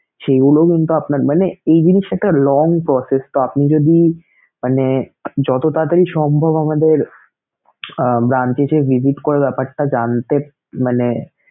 সেইগুলোও কিন্তু আপনার মানে এই জিনিস একটা long process তো আপনি যদি মানে যত তাড়াতাড়ি সম্ভব আমাদের আহ branch এ এসে visit করার ব্যাপারটা জানতে~ মানে